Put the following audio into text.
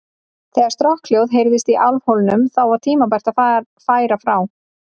Þegar strokkhljóð heyrðist í álfhólnum, þá var tímabært að færa frá.